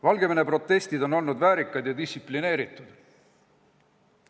Valgevene protestid on olnud väärikad ja distsiplineeritud.